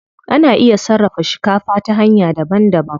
Ana iya sarrafa shikafa ta hanya daban daban.